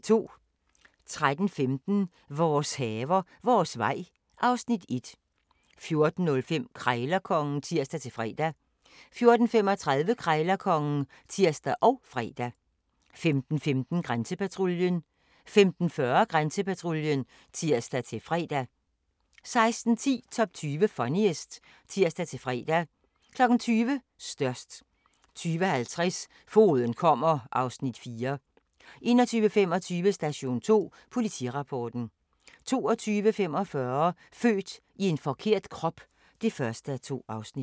13:15: Vores haver, vores vej (Afs. 1) 14:05: Krejlerkongen (tir-fre) 14:35: Krejlerkongen (tir og fre) 15:15: Grænsepatruljen 15:40: Grænsepatruljen (tir-fre) 16:10: Top 20 Funniest (tir-fre) 20:00: Størst 20:50: Fogeden kommer (Afs. 4) 21:25: Station 2 Politirapporten 22:45: Født i forkert krop (1:2)